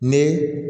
Ni